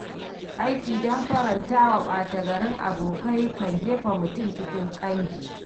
Aiki don farantawa ɓata garin abokai kan jefa mutum cikin ƙangi.